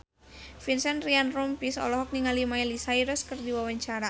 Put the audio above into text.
Vincent Ryan Rompies olohok ningali Miley Cyrus keur diwawancara